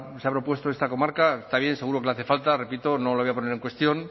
se ha propuesto esta comarca está bien seguro que le hace falta repito no lo voy a poner en cuestión